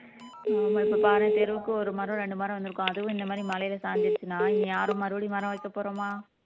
ஆமா இப்ப பாருங்க தெருவுக்கு ஒரு மரம் ரெண்டு மரம் வந்திருக்கும் அதுவும் இந்த மாரி மலையில சாஞ்சிருச்சுன்னா இனி யாரும் மறுபடியும் மரம் வளர்த்தப் போறோமா